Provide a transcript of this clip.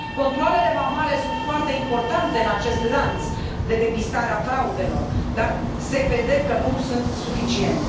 Controalele vamale sunt foarte importante în acest lanț de depistare a fraudelor, dar se vede că nu sunt suficiente.